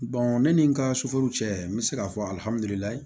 ne ni n ka suforo cɛ n bɛ se k'a fɔ